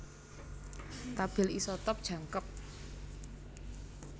Tabèl isotop jangkep